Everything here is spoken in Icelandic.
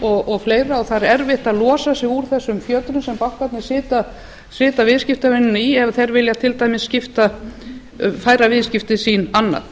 fleira og það er erfitt að losa sig úr þessum fjötrum sem bankarnir setja viðskiptavinina í ef þeir vilja til dæmis færa viðskipti sín annað